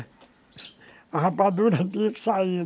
A rapadura tinha que sair.